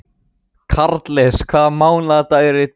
Karles, hvaða mánaðardagur er í dag?